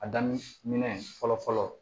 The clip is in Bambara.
A daminɛ minɛn fɔlɔ fɔlɔ fɔlɔ